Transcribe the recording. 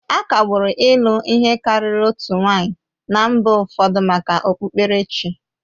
Akagbụrụ ịlụ ihe karịrị otu nwanyị na mba ụfọdụ maka okpukperechi